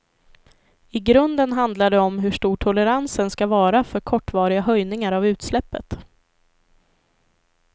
I grunden handlar det om hur stor toleransen ska vara för kortvariga höjningar av utsläppet.